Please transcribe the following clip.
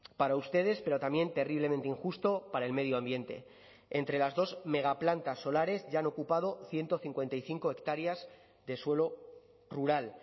para ustedes pero también terriblemente injusto para el medio ambiente entre las dos megaplantas solares ya han ocupado ciento cincuenta y cinco hectáreas de suelo rural